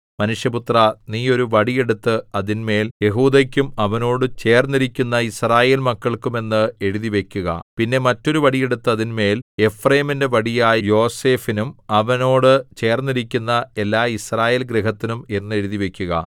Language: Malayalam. മനുഷ്യപുത്രാ നീ ഒരു വടി എടുത്ത് അതിന്മേൽ യെഹൂദയ്ക്കും അവനോട് ചേർന്നിരിക്കുന്ന യിസ്രായേൽമക്കൾക്കും എന്ന് എഴുതിവയ്ക്കുക പിന്നെ മറ്റൊരു വടി എടുത്ത് അതിന്മേൽ എഫ്രയീമിന്റെ വടിയായ യോസേഫിനും അവനോട് ചേർന്നിരിക്കുന്ന എല്ലാ യിസ്രായേൽ ഗൃഹത്തിനും എന്ന് എഴുതിവയ്ക്കുക